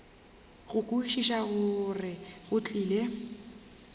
go kwešiša gore go tlile